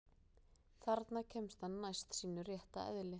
Þarna kemst hann næst sínu rétta eðli.